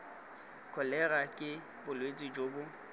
kholera ke bolwetse jo bo